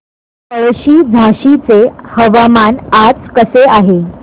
पळशी झाशीचे हवामान आज कसे आहे